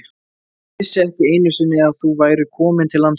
Ég vissi ekki einu sinni að þú værir komin til landsins.